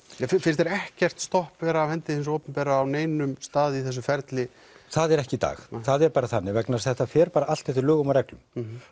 finnst þér ekkert stopp vera af hendi hins opinbera á neinum stað í þessu ferli það er ekki í dag það er bara þannig vegna þess að þetta fer bara allt eftir lögum og reglum